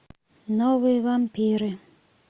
новые вампиры